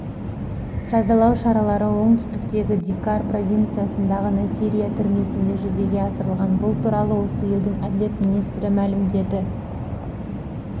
жазалау шаралары оңтүстіктегі ди-кар провинциясындағы насирия түрмесінде жүзеге асырылған бұл туралы осы елдің әділет министрі мәлімдеді